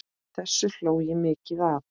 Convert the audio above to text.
Þessu hló ég mikið að.